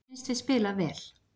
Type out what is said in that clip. Mér fannst við spila vel.